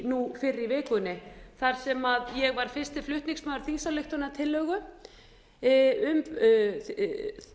nú fyrr í vikunni þar sem ég var fyrsti flutningsmaður þingsályktunartillögu um